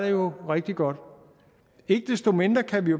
jo rigtig godt ikke desto mindre kan vi